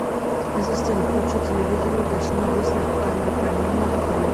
ассистент включи телевизор и уточни есть ли камера хранения в отеле